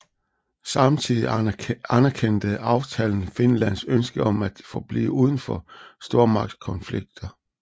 Samtidig anerkendte aftalen Finlands ønske om at forblive udenfor stormagtskonflikter